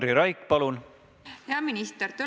Minu esimene küsimus on distantsõppe kohta.